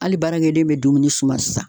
Ali baarakɛden be dumuni suma sisan